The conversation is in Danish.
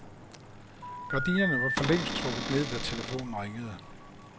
Gardinerne var forlængst trukket ned, da telefonen ringede.